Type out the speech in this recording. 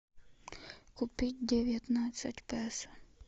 купить девятнадцать песо